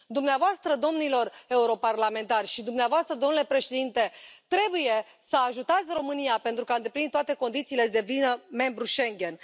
Dumneavoastră, domnilor europarlamentari și dumneavoastră, domnule președinte, trebuie să ajutați România, pentru că a îndeplinit toate condițiile să devină membru Schengen.